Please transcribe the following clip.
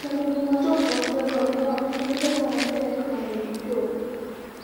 Kendo gima jopuonjrego ne temo matek mondo gichop: